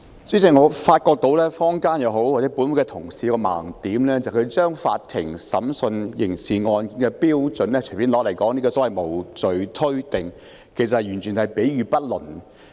主席，我發覺不論是坊間或本會的同事均有一個盲點，就是他們將法庭審訊刑事案件的標準隨便拿來說，提出所謂無罪推定，其實完全是比喻不倫。